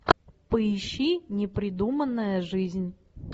поищи непридуманная жизнь